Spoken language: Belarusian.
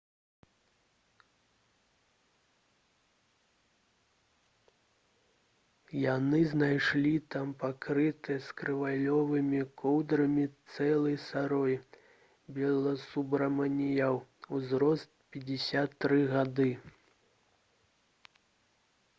яны знайшлі там пакрытае скрываўленымі коўдрамі цела сароі баласубраманіян узрост - 53 гады